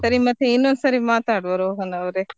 ಸರಿ ಮತ್ತೆ ಇನ್ನೊಂದ್ ಸರಿ ಮಾತಾಡುವ ರೋಹನ್ ಅವ್ರೇ.